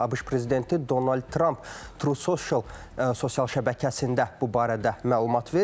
ABŞ prezidenti Donald Tramp TruSocial sosial şəbəkəsində bu barədə məlumat verib.